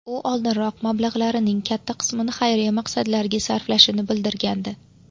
U oldinroq mablag‘larining katta qismini xayriya maqsadlariga sarflashini bildirgandi.